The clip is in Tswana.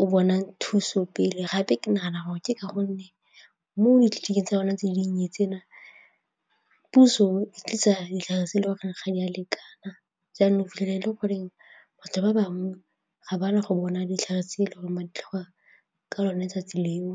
o bona thuso pele gape ke nagana gore ke ka gonne mo tsa bona tse dinnye tsena puso tlisa ditlhare se le gore ga di a lekana jaana o fitlhele e le gore batho ba bangwe ga ba na go bona ditlhare tse e le gore ba a di tlhoka ka lone letsatsi leo.